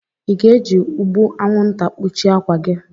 Ị ga-eji ụgbụ anwụnta kpuchie akwa gị?